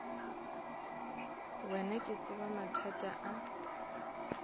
wena ke tseba mathata a